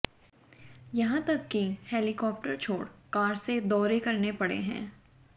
यहां तक कि हेलीकॉप्टर छोड़ कार से दौरे करने पड़े हैं